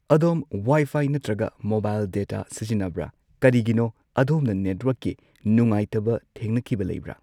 ꯑꯗꯣꯝ ꯋꯥꯏꯐꯥꯏ ꯅꯠꯇ꯭ꯔꯒ mobile data ꯁꯤꯖꯤꯟꯅꯕ꯭ꯔꯥ ꯀꯔꯤꯒꯤꯅꯣ ꯑꯗꯣꯝꯅ ꯅꯦꯠꯋꯥꯔꯛꯀꯤ ꯅꯨꯡꯉꯥꯏꯇꯕ ꯊꯦꯡꯅꯈꯤꯕ ꯂꯩꯕ꯭ꯔꯥ